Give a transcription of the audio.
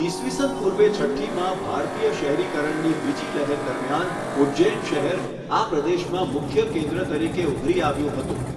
ઈસવીસન પૂર્વે છઠ્ઠીમાં ભારતીય શહેરીકરણની બીજી લહેર દરમિયાન ઉજ્જૈન શહેર આ પ્રદેશમાં મુખ્ય કેન્દ્ર તરીકે ઉભરી આવ્યું હતું.